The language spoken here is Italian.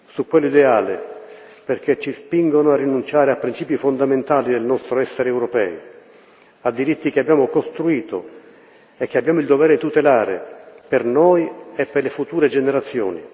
Su quello ideale, perché ci spingono a rinunciare a principi fondamentali del nostro essere europei, a diritti che abbiamo costruito e che abbiamo il dovere di tutelare, per noi e per le future generazioni.